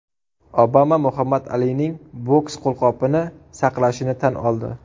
Obama Muhammad Alining boks qo‘lqopini saqlashini tan oldi.